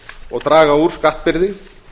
og draga úr skattbyrði